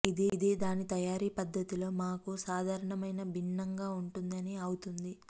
ఇది దాని తయారీ పద్ధతిలో మాకు సాధారణమైన భిన్నంగా ఉంటుంది అని అవుతుంది